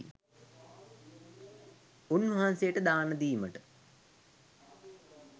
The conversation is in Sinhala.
උන්වහන්සේට දානදීමට